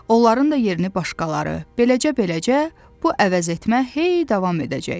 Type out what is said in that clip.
Onların da yerini başqaları, beləcə, beləcə bu əvəzetmə heyy davam edəcək.